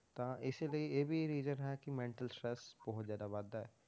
ਤਾਂ ਇਸੇ ਲਈ ਇਹ ਵੀ reason ਹੈ ਕਿ mental stress ਬਹੁਤ ਜ਼ਿਆਦਾ ਵੱਧਦਾ ਹੈ।